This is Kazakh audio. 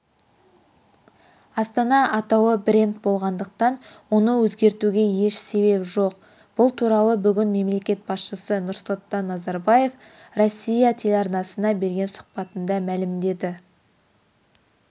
астана атауы бренд болғандықтан оны өзгертуге еш себеп жоқ бұл туралы бүгін мемлекет басшысы нұрсұлтан назарбаев россия телеарнасына берген сұхбатында мәлімдеді